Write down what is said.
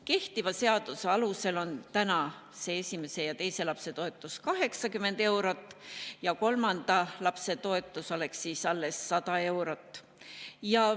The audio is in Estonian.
Kehtiva seaduse alusel on praegu esimese ja teise lapse toetus 80 eurot ja alles kolmanda lapse toetus 100 eurot.